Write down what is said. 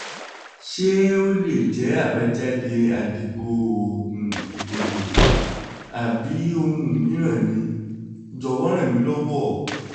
ṣé ó lè jẹ́ àbájáde àdìbò oògùn ìdìbò? àbí ohun mìíràn ni? jọ̀wọ́ ràn mí lọ́wọ́